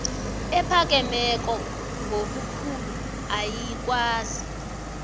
ephakemeko ngobukhulu ayikwazi